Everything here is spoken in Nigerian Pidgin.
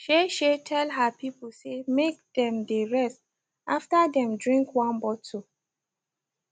shey shey tell her people say make them dey rest after them drink one bottle